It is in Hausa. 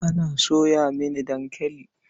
Ana soya mini dankali.